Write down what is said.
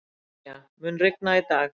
Úranía, mun rigna í dag?